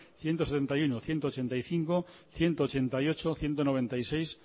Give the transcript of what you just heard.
ciento setenta y uno ciento ochenta y cinco ciento ochenta y ocho ciento noventa y seis